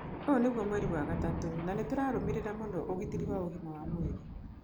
ũyũ nĩgũo mweri wa gatatũ na nĩtũrarũmĩrĩra mũno ũgitĩri wa ũgima wa mwĩrĩ.